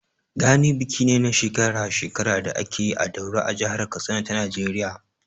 Gani biki ne na shekara-shekara da ake yi a Daura a jihar Katsina ta Najeriya.